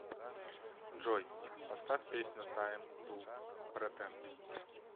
джой поставь песню тайм ту претенд